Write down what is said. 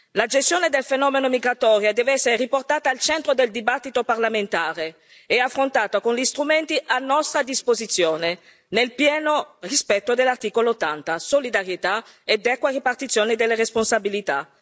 La gestione del fenomeno migratorio deve essere riportata al centro del dibattito parlamentare e affrontata con gli strumenti a nostra disposizione, nel pieno rispetto dell'articolo 80 solidarietà ed equa ripartizione delle responsabilità.